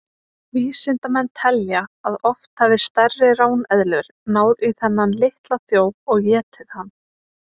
Vísindamenn telja að oft hafi stærri ráneðlur náð í þennan litla þjóf og étið hann.